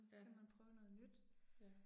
Ja. Ja